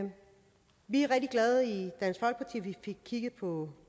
vi fik kigget på